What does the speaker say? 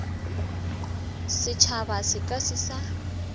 setšhaba se ka se sa